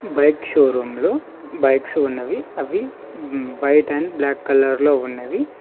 Bike showroom లో bikes ఉన్నవి అవి వైట్ అండ్ బ్లాక్ కలర్ లో ఉన్నవి.